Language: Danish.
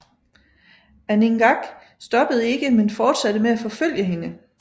Aningaaq stoppede ikke men fortsatte med at forfølge hende